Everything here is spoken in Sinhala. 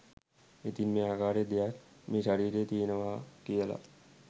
ඉතින් මේ ආකාරයේ දෙයක් මේ ශරීරයේ තියෙනවා කියල